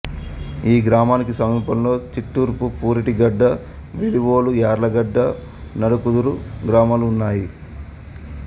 ఈ గ్రామానికి సమీపంలో చిట్టూర్పు పురిటిగడ్డ వెలివోలు యార్లగడ్డ నడకుదురు గ్రామాలు ఉన్నాయి